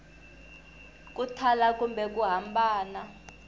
ku thala kumbe ku hambana